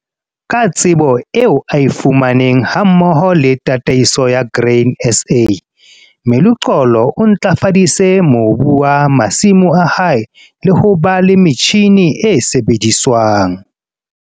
Ka tsebo eo a e fumaneng hammoho le Tataiso ya Grain SA, Meluxolo o ntlafaditse mobu wa masimo a hae le ho ba le metjhine e sebediswang.